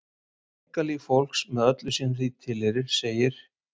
Einkalíf fólks með öllu sem því tilheyrir, segir